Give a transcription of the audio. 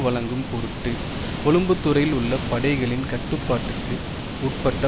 வழங்கும் பொருட்டு கொழும்புத்துறையில் உள்ள படைகளின் கட்டுப்பாட்டுக்கு உட்பட்ட